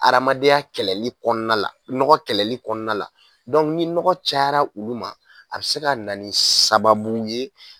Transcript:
Hadamadenya kɛlɛli kɔnɔna la nɔgɔ kɛlɛli kɔnɔna la ni nɔgɔ cayara olu ma a bɛ se ka na sababu ye